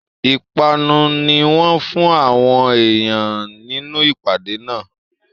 Ipanu ní wọn fún àwọn èèyàn nínú ìpàdé náà